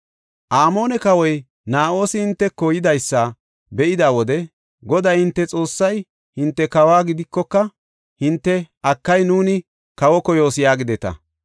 “Amoone kawoy Na7oosi hinteko yidaysa be7ida wode Goday hinte Xoossay hinte kawo gidikoka, hinte, ‘Akay, nuuni kawo koyoos’ yaagideta.